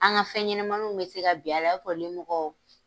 An ka fɛn ɲɛnamaninw bɛ se ka bin a la , i b'a fɔ limɔgɔ